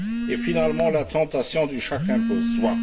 et finalement la tentation du chacun pour soi.